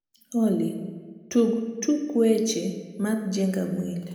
olly tug tuk weche mar jenga mwili